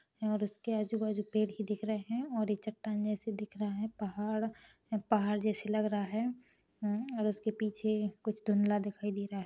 और उसके आजू-बाजू पेड़ ही दिख रहे है और ये चट्टान जैसी दिख रहा है पहाड़ पहाड़ जैसी लग रहा है और उसके पीछे कुछ धुंधला दिखाई दे रा है।